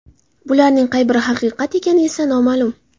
Bularning qay biri haqiqat ekani esa noma’lum.